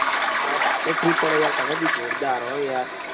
યાર અરે રાતે free પાડો યાર તમે બી જોરદાર હો યાર.